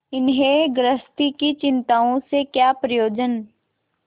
इन्हें गृहस्थी की चिंताओं से क्या प्रयोजन